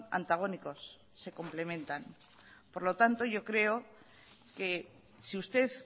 antagónicos se complementan por lo tanto yo creo que si usted